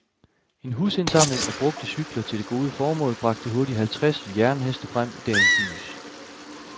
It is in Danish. En husindsamling af brugte cykler til det gode formål bragte hurtigt halvtreds jernheste frem i dagens lys.